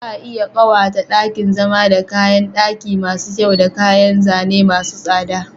Za a iya ƙawata ɗakin zama da kayan ɗaki masu kyau da kayan zane masu tsada..